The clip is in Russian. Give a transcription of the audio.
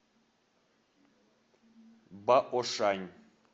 баошань